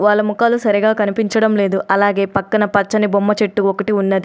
వాళ్ళ ముఖాలు సరిగా కనిపించడం లేదు. అలాగే పక్కన పచ్చని బొమ్మ చెట్టు ఒకటి ఉన్నది.